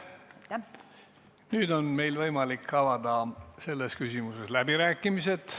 Nüüd on meil võimalik avada selles küsimuses läbirääkimised.